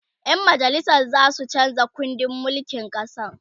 ƴan majalisan zasu chanza kundin mulkin ƙasan